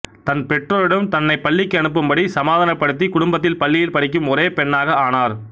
தன்து பெற்றோரிடம் தன்னை பள்ளிக்கு அனுப்பும்படி சமாதானப்படுத்தி குடும்பத்தில் பள்ளியில் படிக்கும் ஒரே பெண்ணாக ஆனார்